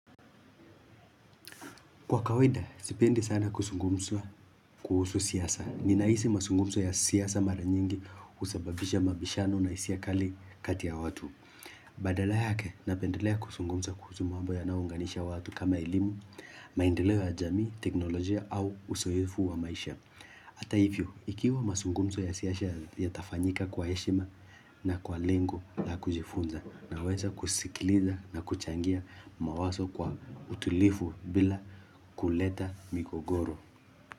Kwa kawaida, sipendi sana kusungumsa kuhusu siasa. Ninahisi masungumso ya siasa mara nyingi husababisha mabishano na hisia kali kati ya watu. Badala yake, napendelea kusungumsa kuhusu mambo yanayounganisha watu kama elimu, maendeleo ya jamii, teknolojia au uzoefu wa maisha. Ata hivyo, ikiwa masungumso ya siasa yatafanyika kwa heshima na kwa lengo la kujifunza Naweza kusikiliza na kuchangia mawaso kwa utilifu bila kuleta migogoro.